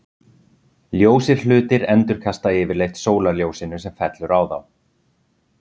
ljósir hlutir endurkasta yfirleitt sólarljósinu sem fellur á þá